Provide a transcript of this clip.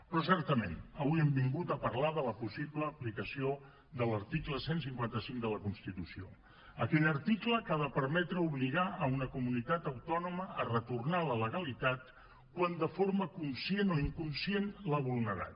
però certament avui hem vingut a parlar de la possible aplicació de l’article cent i cinquanta cinc de la constitució aquell article que ha de permetre obligar una comunitat autònoma a retornar a la legalitat quan de forma conscient o inconscient l’ha vulnerat